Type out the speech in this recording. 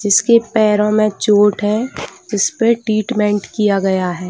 जिसके पैरों में चोट है जिस पे ट्रीटमेन्ट किया गया है।